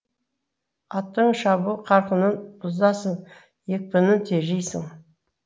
аттың шабу қарқынын бұзасың екпінін тежейсің